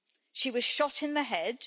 She was shot in the head.